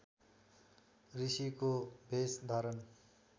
ऋषिको भेष धारण